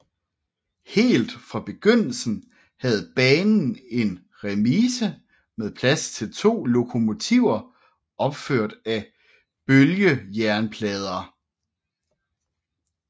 Helt fra begyndelsen havde banen en remise med plads til to lokomotiver opført af bølgejernplader